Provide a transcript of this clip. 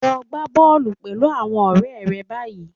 Lo gbá bọ́ọ̀lù pẹ̀lú àwọn ọ̀rẹ́ rẹ báyìí